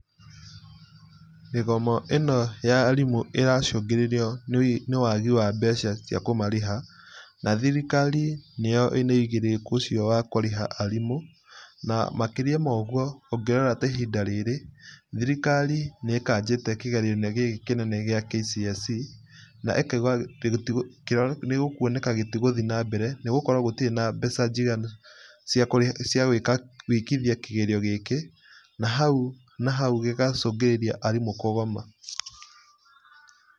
Mĩgomo ĩno ya arimũ ĩracũngĩrĩrio nĩ wagi wa mbeca cia kũmarĩha na thirikari nĩyo ĩna wĩigĩrĩrĩki ũcio wa kũmarĩha na makĩria moguo ũngĩrora ta ihinda rĩrĩ, thirikari nĩĩkanjĩte kĩgeranio kĩnene kĩa kcse na ĩkauga nĩgũkwoneka gĩtigũthiĩ na mbere nĩgũkorwo gũtirĩ na mbeca njiganu cia kũrĩha gũĩka gwĩkithia gĩkĩ na hau na hau gĩgacũngĩrĩria arimũ kũgoma.